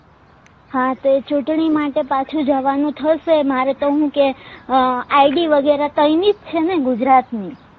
હા તો ચુંટણી માટે પાછુ જવાનું થશે મારે તો હું કે ID વગેરા તાઈ ની જ છે ને ગુજરાત ની